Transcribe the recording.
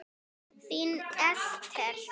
Þín Esther.